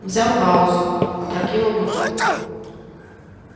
взял паузу опрокинул бутылку